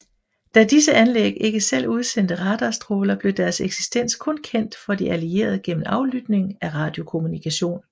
Da disse anlæg ikke selv udsendte radarstråler blev deres eksistens kun kendt for de allierede igennem aflytning af radiokommunikation